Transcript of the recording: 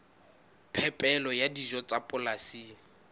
phepelo ya dijo tsa polasing